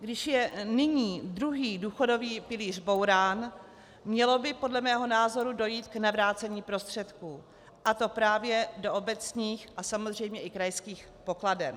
Když je nyní druhý důchodový pilíř bourán, mělo by podle mého názoru dojít k navrácení prostředků, a to právě do obecních a samozřejmě i krajských pokladen.